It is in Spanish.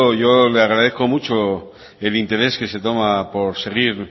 yo le agradezco mucho el interés que se toma por seguir